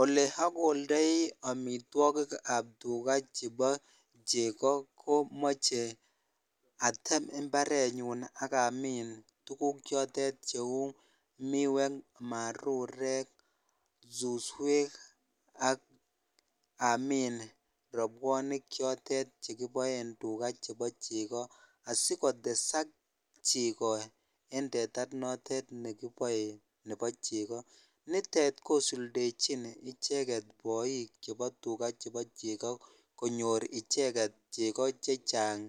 Olee okoldoi amitwokikab tuka chebo cheko komoche atem imbarenyun ak amin tukuk chotet cheu miwek, marurek, suswek ak amiin robwonik chotet chekiboen tukaa chebo cheko asikotesak cheko en teta notet nekiboe nebo cheko, nitet kosuldechin cheket boik chebo tukaa, chebo cheko konyor icheket cheko chechang